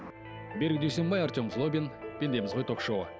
берік дүйсенбай артем хлобин пендеміз ғой ток шоуы